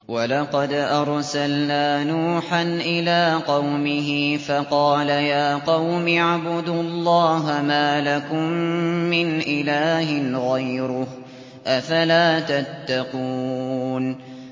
وَلَقَدْ أَرْسَلْنَا نُوحًا إِلَىٰ قَوْمِهِ فَقَالَ يَا قَوْمِ اعْبُدُوا اللَّهَ مَا لَكُم مِّنْ إِلَٰهٍ غَيْرُهُ ۖ أَفَلَا تَتَّقُونَ